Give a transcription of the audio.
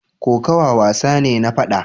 Kokawa wasa ne na fada.